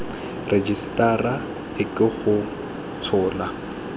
rejisetara e ke go tshola